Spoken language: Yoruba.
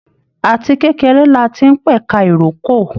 Àti kékeré láti n pẹka ìrókò.